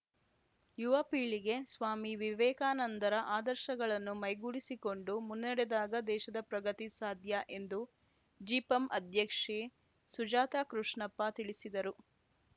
ಯುವ ಪೀಳಿಗೆ ಸ್ವಾಮಿ ವಿವೇಕಾನಂದರ ಆದರ್ಶಗಳನ್ನು ಮೈಗೂಡಿಸಿಕೊಂಡು ಮುನ್ನೆಡೆದಾಗ ದೇಶದ ಪ್ರಗತಿ ಸಾಧ್ಯ ಎಂದು ಜಿಪಂ ಅಧ್ಯಕ್ಷೆ ಸುಜಾತ ಕೃಷ್ಣಪ್ಪ ತಿಳಿಸಿದರು